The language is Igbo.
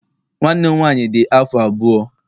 Nwanne m nwaanyị dị afọ abụọ